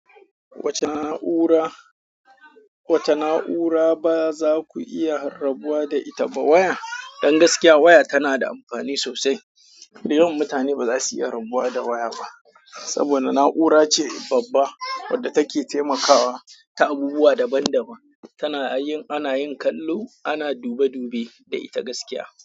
Wace na'ura, wace na'ura ba za ku iya rabuwa da ita ba. Waya, don gaskiya waya tana da amfani sosai. Da yawan mutane bazasu iya rabuwa da waya ba saboda na'ura ce babba wadda take taimakawa ta abubuwa daban-daban. Tana yin, ana yin kallo, ana dube-dube da ita gaskiya.